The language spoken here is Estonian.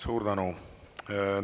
Suur tänu!